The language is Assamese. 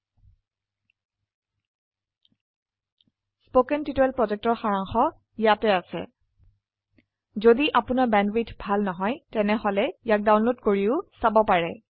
httpspoken tutorialorgWhat is a Spoken Tutorial কথন শিক্ষণ প্ৰকল্পৰ সাৰাংশ ইয়াত আছে যদি আপোনাৰ বেণ্ডৱিডথ ভাল নহয় তেনেহলে ইয়াক ডাউনলোড কৰি চাব পাৰে